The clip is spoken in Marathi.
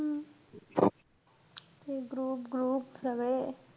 हम्म हे group group सगळे.